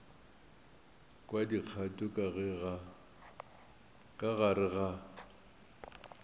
kwa dikgato ka gare ga